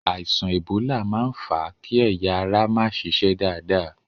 Àìsàn ẹ̀bólà máa ń fà á kí ẹ̀yà ara má ṣiṣẹ́ dáadáa.